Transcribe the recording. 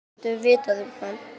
Hvað getum við vitað um hann?